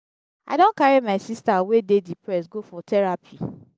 i don carry my sista wey dey depressed go for terapi.